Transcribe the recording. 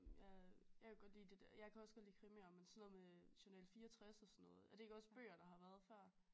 Øh jeg kan godt lide det der jeg kan også godt lige krimier men sådan noget med journal 64 og sådan noget er det ikke også bøger der har været før?